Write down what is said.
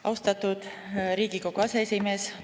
Austatud Riigikogu aseesimees!